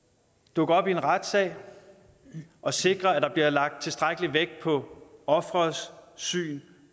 dukke op i en retssag og sikre at der bliver lagt tilstrækkelig vægt på offerets syn